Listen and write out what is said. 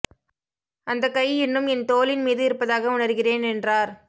அந்த கை இன்னும் என் தோளின் மீது இருப்பதாக உணர்கிறேன் என்றார்